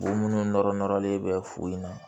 Bon minnu nɔrɔ nɔrɔlen bɛ furu in na